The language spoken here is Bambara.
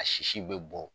A sisi bɛ bɔ